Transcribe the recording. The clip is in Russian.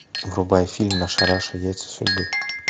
врубай фильм наша раша яйца судьбы